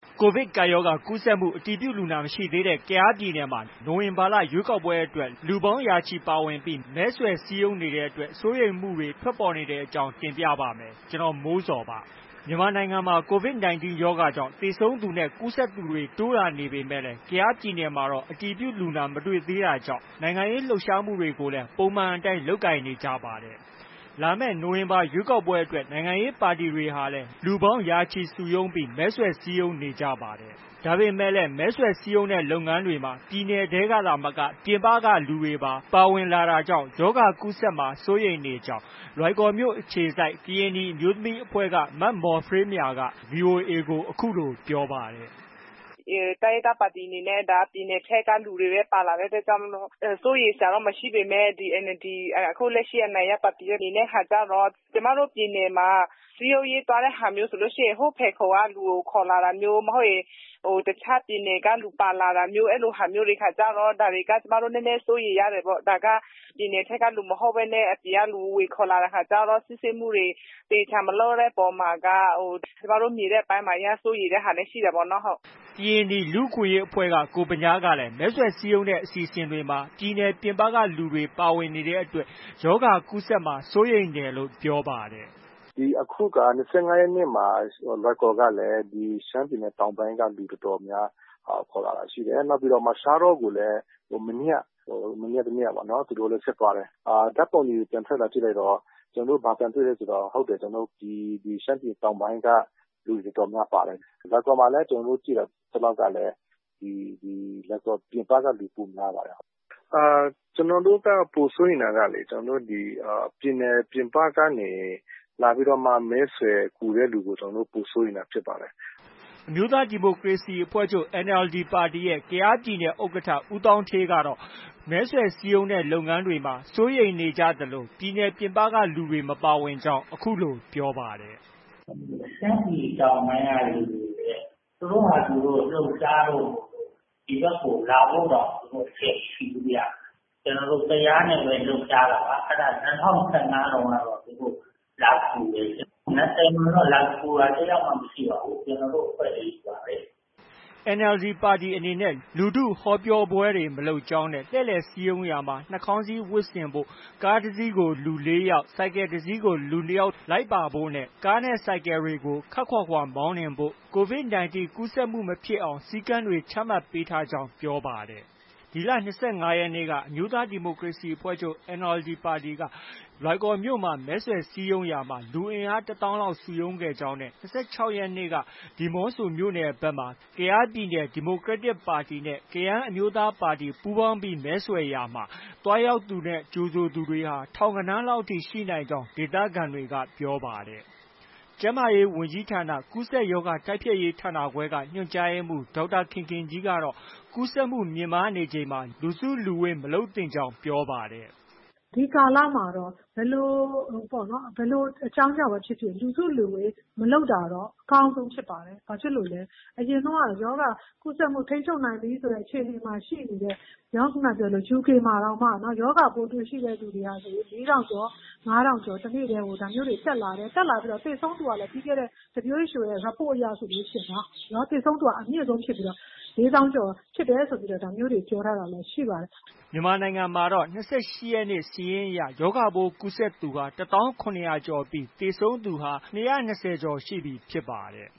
ကိုဗစ်ကပ်ရောဂါ ကူးစက်သူ အတည်ပြုလူနာ မရှိသေးတဲ့ ကယားပြည်နယ်မှာ နိုဝင်ဘာလ ရွေးကောက်ပွဲအတွက် လူပေါင်းရာချီ ပါဝင်ပြီး မဲဆွယ်စည်းရုံးနေတဲ့အတွက် စိုးရိမ်မှုတွေ ထွက်ပေါ်နေတဲ့အကြောင်းကို ဗွီအိုအေမြန်မာပိုင်းသတင်းထောက် ကိုမိုးဇော်က တင်ပြပါမယ်။ မြန်မာနိုင်ငံမှာ COVID 19 ရောဂါကြောင့် သေဆုံးသူတွေနဲ့ ကူးစက်သူတွေ တိုးလာနေပေမဲ့လည်း ကယားပြည်နယ်မှာတော့ အတည်ပြုလူနာ မတွေ့သေးတာကြောင့် နိုင်ငံရေး လှုပ်ရှားမှုတွေကိုလည်း ပုံမှန်အတိုင်း လုပ်နေကြတာပါ။ လာမယ့် နိုဝင်ဘာလ ရွေးကောက်ပွဲအတွက် နိုင်ငံရေးပါတီတွေဟာလည်း လူပေါင်းရာချီ စုရုံးပြီး မဲဆွယ်စည်းရုံးနေကြပါတယ်။ ဒါပေမဲ့လည်း မဲဆွယ်စည်းရုံးတဲ့ လုပ်ငန်းတွေမှာ ပြည်နယ်ထဲကသာမက ပြင်ပက လူတွေပါ ပါဝင်လာတာကြောင့် ရောဂါကူးစက်မှာ စိုးရိမ်နေကြောင်း လွိုင်ကော်မြို့အခြေစိုက် ကရင်နီအမျိုးသမီးအဖွဲ့က မမော်ဖရေးမြာက VOA ကို အခုလို ပြောပါတယ်။ “တိုင်းရင်းသားပါတီတွေအနေနဲ့ ပြည်နယ်ထဲက လူတွေပဲ ပါတဲ့အတွက်ကြောင့် ဒီစိုးရိမ်စရာတော့ မရှိပေမဲ့ NLD အနိုင်ရပါတီအနေနဲ့ ဟာကျတော့ ကျမတို့ ပြည်နယ်မှာ စည်းရုံးရေးသွားတဲ့အခါကျရင် ဟိုး ဖယ်ခုံက လူကို ခေါ်လာတာမျိုး။ မဟုတ်ရင် တခြားပြည်နယ်ကလူ ပါလာတာမျိုး အဲလိုဟာမျိုးတွေခါကျတော့ နည်းနည်း စိုးရိမ်ရတယ်ပေါ့။ ဒါက ပြည်နယ်ကလူမဟုတ်ဘဲနဲ့ အပြင်ကလူ ဝင်ခေါ်လာတဲ့အခါကျတော့၊ စစ်ဆေးမှုတွေ သေချာမလုပ်တဲ့အပေါ်မှာက ဟို ကျမတို့ နေတဲ့အပိုင်းမှာ အရမ်းစိုးရိမ်တာလည်း ရှိတယ်ပေါ့နော်။” ကရင်နီလူ့အခွင့်အရေးအဖွဲ့က ကိုဗညားကလည်း မဲဆွယ်စည်းရုံးတဲ့ အစီအစဉ်တွေမှာ ပြည်နယ်ပြင်ပက လူတွေပါ ပါဝင်နေတဲ့အတွက် ရောဂါကူးစက်မှာ စိုးရိမ်တယ်လို့ ပြောပါတယ်။ “ဒီအခုက ၂၅ ရက်နေ့မှာ လွိုင်ကော်ကလည်း ရှမ်းပြည်နယ်တောင်ပိုင်းက လူ တော်တော်များများ ခေါ်လာတာရှိတယ်။ နောက်ပြီးတော့မှ ရှားတောကိုလည်း မနေ့က မနေ့က တစ်နေ့ သူတို့ ဆက်သွားတယ်။ ဓါတ်ပုံတွေ ပြန်ကြည့်လိုက်တော့ ရှမ်းပြည်တောင်ပိုင်းက လူတော်တော်များများပါတယ်။ လွိုင်ကော်မှာလည်း ကျနော်တို့ ကြည့်သလောက်ကလည်း လွိုင်ကော်ပြင်ပကလူပိုများပါတယ်။ ကျနော်တို့က ပိုစိုးရိမ်တာက ပြည်နယ်ပြင်ပကနေ လာပြီးတော့မှ မဲဆွယ်ကူတဲ့လူကို ပိုပြီးတော့မှ စိုးရိမ်တာဖြစ်ပါတယ်။” အမျိုးသားဒီမိုကရေစီအဖွဲ့ချုပ် NLD ပါတီရဲ့ ကယားပြည်နယ်ဥက္ကဋ္ဌ ဦးသောင်းဌေးကတော့ မဲဆွယ်စည်းရုံးတဲ့ လုပ်ငန်းတွေမှာ စိုးရိမ်နေကြသလို ပြည်နယ်ပြင်ပကလူတွေ မပါဝင်ကြောင်း အခုလို ပြောပါတယ်။ “ရှမ်းပြည်တောင်ပိုင်းကလူတွေက သူတို့ဟာသူတို့ လှုပ်ရှားလို့ ဒီဘက်ကကို လာဖို့တောင် အချိန်မရှိဘူးဗျ။ ကျနော်တို့ ကယားနဲ့ပဲ လှုပ်ရှားတာပါ။ အဲဒါ ၂၀၁၅တုန်းကတော့ သူတို့ လာကူတယ်လေ။ ၂၀မှာတော့ လာကူတာ တစ်ယောက်မှ မရှိပါဘူး။ ကျနော်တို့ အဖွဲ့တွေချည်းပါပဲ။” NLD ပါတီအနေနဲ့ လူထုဟောပြောပွဲတွေ မလုပ်ကြောင်းနဲ့ လှည့်လည်ပွဲစည်းရုံးရာမှာ နှာခေါင်းစည်းဝတ်ဆင်ဖို့၊ ကားတစ်စီးကို လူ ၄ယောက်၊ ဆိုင်ကယ်တစ်စင်း လူ၂ယောက်လိုက်ပါဖို့၊ ကားနဲ့ ဆိုင်ကယ်တွေကို ခပ်ခွာခွာ မောင်းနှင်ဖို့၊ COVID 19 ကူးစက်မှုမဖြစ်အောင် စည်းကမ်းတွေ ချမှတ်ပေးထားကြောင်းလည်း ပြောပါတယ်။ ဒီလ ၂၅ ရက်နေ့က အမျိုးသားဒီမိုကရေစီအဖွဲ့ချုပ် NLD က လွိုင်ကော်မြို့မှာ မဲဆွယ်စည်းရုံးရာမှာ လူအင်အား ၁၀,၀၀၀ လောက် စုရုံးခဲ့ကြောင်း နဲ့ ၂၆ရက်နေ့က ဒီမောဆိုမြို့နယ်ဘက်မှာ ကယားပြည်နယ် ဒီမိုကရက်တစ် ပါတီနဲ့ ကယန်းအမျိုးသားပါတီ ပူးပေါင်းပြီးမဲဆွယ်စည်းရုံးရာမှာ သွားရောက်သူ၊ ကြိုဆိုသူတွေဟာ ထောင်ဂဏန်းလောက်အထိ ရှိနိုင်ကြောင်း ဒေသခံတွေက ပြောပါတယ်။ ကျန်းမာရေးဝန်ကြီးဌာန ကူးစက်ရောဂါတိုက်ဖျက်ရေးဌာနခွဲက ညွှန်ကြားရေးမှုး ဒေါက်တာခင်ခင်ကြီးကတော့ ကူးစက်မှုမြင့်မားနေချိန်မှာ လူစုလူဝေး မလုပ်သင့်ကြောင်း ပြောပါတယ်။ “ဒီကာလမှာတော့ ဘယ်လိုအကြောင်းကြောင့်ပဲဖြစ်ဖြစ် လူစုလူဝေး မလုပ်တာတော့ အကောင်းဆုံးဖြစ်ပါတယ်။ ဘာဖြစ်လို့လဲ အရင်တုန်းက ရောဂါကူးစက်မှု ထိန်းချုပ်နိုင်ပြီဆိုတဲ့ အခြေအနေမှာ ရှိနေတဲ့ UK နိုင်ငံမှာတောင်မှ ရောဂါပိုးတွေ့ရှိတဲ့သူတွေက ၄,၀၀၀ ကျော်၊ ၅,၀၀၀ ကျော် တစ်နေ့ထဲ ဒါမျိုးတွေ တက်လာတယ်။ သေဆုံးသူကလည်း ပြီးခဲ့တဲ့ WHO report အရ သေဆုံးသူက အမြင့်ဆုံးဖြစ်ပြီးတော့ ၄၀,၀၀၀ ကျော်ဖြစ်တယ်ဆိုပြီးတော့ ဒါမျိုးတွေ ပြောထားတာရှိပါတယ်။ ” မြန်မာနိုင်ငံမှာတော့ ၂၈ ရက်နေ့ စာရင်းအရ ရောဂါပိုးကူးစက်ခံရသူ ၁၀,၇၀၀ ကျော်ရှိပြီး သေဆုံးသူ ၂၂၀ ကျော်သွားပြီဖြစ်ပါတယ်